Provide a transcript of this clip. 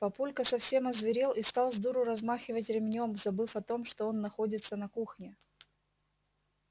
папулька совсем озверел и стал сдуру размахивать ремнём забыв о том что он находится на кухне